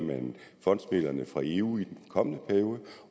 fondsmidlerne fra eu i den kommende periode